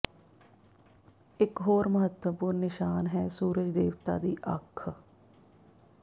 ਇਕ ਹੋਰ ਮਹੱਤਵਪੂਰਣ ਨਿਸ਼ਾਨ ਹੈ ਸੂਰਜ ਦੇਵਤਾ ਦੀ ਅੱਖ